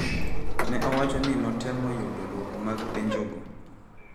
Ne owacho ni notemo yudo dwoko mag penjogo,